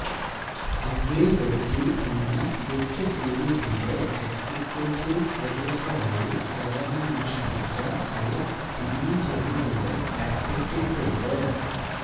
ugly Betty എന്ന hit സീരീസിന്റെ executive പ്രൊഡ്യൂസറായി സേവനമനുഷ്ഠിച്ച ഹയക് ടിവി ജോലികളിലും ഏർപ്പെട്ടിട്ടുണ്ട്